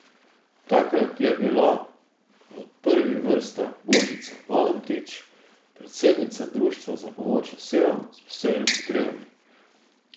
Takrat je bila v prvih vrstah Božica Valantič, predsednica Društva za pomoč osebam s posebnimi potrebami.